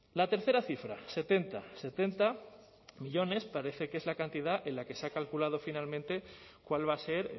la tercera cifra setenta setenta millónes parece que es la cantidad en la que se ha calculado finalmente cuál va a ser